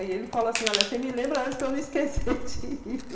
Aí ele falou assim, olha, você me lembra antes para eu não esquecer de ir.